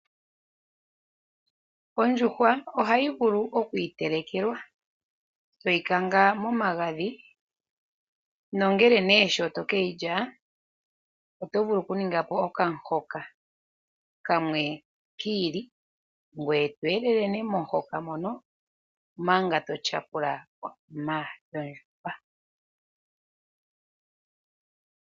Ondjuhwa oha yi vulu okwiitelekelwa. Toyi kanga momagadhi nongele nee sho toke yi lya otovulu oku ninga po okamuhoka, kamwe ki ili, ngoye to elele momuhoka mono, manga to tyapula yondjuhwa.